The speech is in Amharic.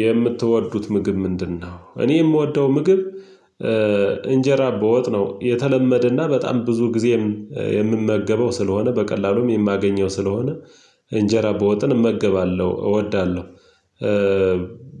የምትወዱት ምግብ ምንድነው? እኔ የምወደው ምግብ እንጀራ በወጥ ነው። የተለመደና በጣም ብዙ ጊዜ የምመገበው ስለሆነ በቀላሉም የማገኘው ስለሆነ እንጀራ በወጥን እመገባለሁ እወዳለሁ።